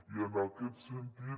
i en aquest sentit